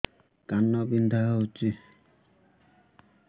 କାନ ବିନ୍ଧା ହଉଛି